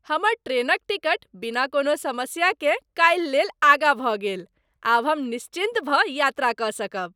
हमर ट्रेनक टिकट बिना कोनो समस्याकेँ काल्हि लेल आगाँ भऽ गेल, आब हम निश्चिन्त भऽ यात्रा कऽ सकब।